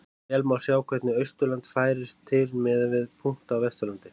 Vel má sjá hvernig Austurland færist til miðað við punkta á Vesturlandi.